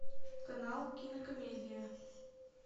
канал кинокомедия